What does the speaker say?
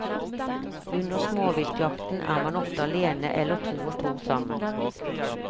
Under småviltjakten er man ofte alene eller to og to sammen.